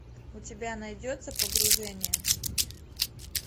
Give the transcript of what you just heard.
у тебя найдется погружение